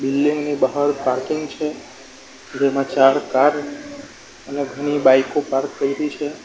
Building ની બહાર parking છે જેમાં ચાર કાર અને ઘણી બાઇક ઑ પાર્ક કયરી છે.